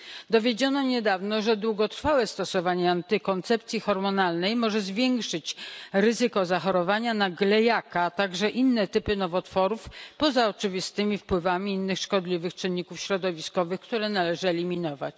Dowiedziono niedawno, że długotrwałe stosowanie antykoncepcji hormonalnej może zwiększyć ryzyko zachorowania na glejaka, a także inne typy nowotworów poza oczywistymi wpływami innych szkodliwych czynników środowiskowych, które należy eliminować.